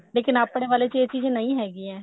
ਲੇਕਿਨ ਆਪਣੇ ਵਾਲੇ ਚ ਇਹ ਚੀਜ਼ ਨਹੀਂ ਹੈਗੀ ਹੈ